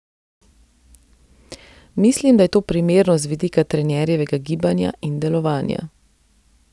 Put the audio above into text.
Mislim, da je to primerno z vidika trenerjevega gibanja in delovanja.